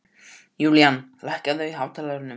Julian, lækkaðu í hátalaranum.